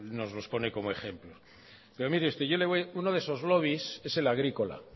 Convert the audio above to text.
pone como ejemplo mire usted uno de esos lobbies es el agrícola